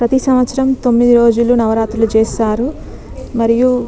ప్రతి సంవత్సరమ్ తొమ్మిది రోజులు నవరాత్రులు చేస్తారు . మరయు --